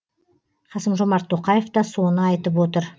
қасым жомарт тоқаев та соны айтып отыр